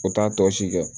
U t'a tɔ si kɛ